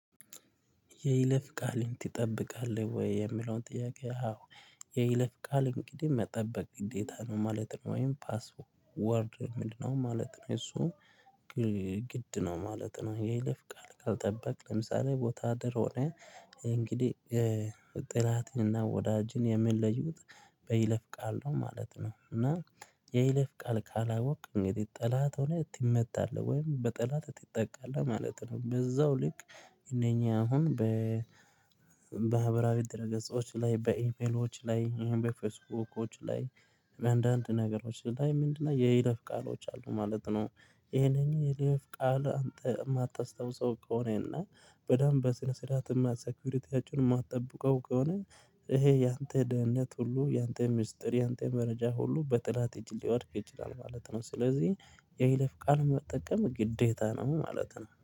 የይለፍ ቃልን ትጠብቃለህ ወይ? የሚለው ጥያቄ አዎ የይለፍ ቃል እንግዲህ መጠበቅ ግዴታ ነው ማለት ነው ወይም ፓስወርድ ምንድነው ማለት ነው እሱ ግድ ነው ማለት ነው ይለፍ ቃል ካልጠበክ ለምሳሌ ወታደር ሆነ እንግዲህ ጠላት እና ወዳጅን የሚለዩት በይለፍ ቃል ነው ማለት ነው እና የይለፍ ቃል ካላወቅክ እንግዲህ ጠላት ሆነ ትመታለህ ወይም በጠላት ትጠቃለህ ማለት ነው በዛው ልክ እነኛ አሁን በማህበራዊ ድረ ገጾች ላይ በኢሜሎች ላይ በፌስቡክዎች ላይ አንዳንድ ነገሮች ላይ ምንድነው የይለፍ ቃሎች አሉ ማለት ነው ይሄንን የይለፍ ቃል አንተ የማታስታውሰው ከሆነና በደንብ በስነ ስርዓት እና ሰኪሪቲያችንን የማትጠብቀው ከሆነ ይሄ ያንተ ደህንነት ሁሉ ያንተ ሚስጥር ያንተ መረጃ ሁሉ በጠላት እጅ ሊወድቅ ይችላል ማለት ነው ስለዚህ የይለፍ ቃል መጠቀም ግዴታ ነው ማለት ነው።